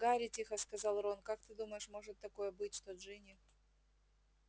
гарри тихо сказал рон как ты думаешь может такое быть что джинни